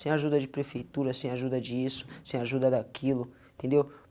Sem ajuda de prefeitura, sem ajuda disso, sem ajuda daquilo, entendeu?